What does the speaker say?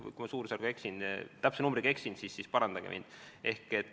Kui ma eksisin, siis parandage mind.